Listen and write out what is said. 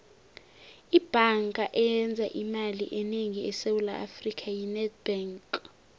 ibhanga eyenza imali enengi esewula afrika yi nedbank